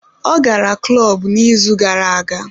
Ọ gara klọb n'izu gara aga